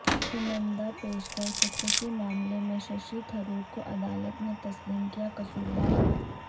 سنندا پشکر خود کشی معاملے میں ششی تھرورکوعدالت نے تسلیم کیا قصوروار